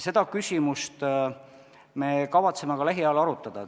Seda küsimust me kavatseme lähiajal arutada.